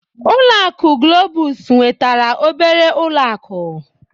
Ulọ akụ Globus nwetara obere ụlọ akụ.